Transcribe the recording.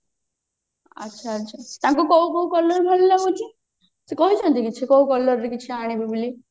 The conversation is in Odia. ଆଚ୍ଛା ଆଚ୍ଛା ତାଙ୍କୁ କୋଉ କୋଉ color ଭଲ ଲାଗୁଛି ସେ କହିଛନ୍ତି କି କିଛି କୋଉ color ବି କିଛି ଆଣିବୁ ବୋଲି